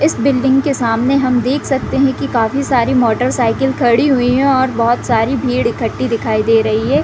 इस बिल्डिंग के सामने हम देख सकते है की काफ़ी सारी मोटरसाइकिल खड़ी हुई है और बोहत सारी भीड़ इक्कठी दिखाई दे रही है।